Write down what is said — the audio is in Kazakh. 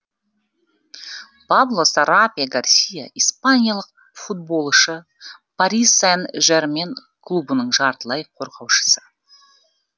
пабло сарабия гарсия испаниялық футболшы пари сен жермен клубының жартылай қорғаушысы